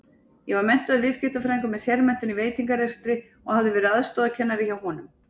Ég var menntaður viðskiptafræðingur með sérmenntun í veitingarekstri og hafði verið aðstoðarkennari hjá honum.